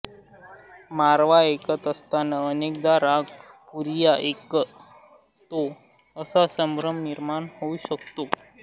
मारवा ऐकत असताना अनेकदा राग पुरिया ऐकतोय असा संभ्रम निर्माण होऊ शकतो